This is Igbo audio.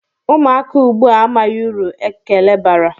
Ụmụaka ugbu a amaghị uru ekele bara.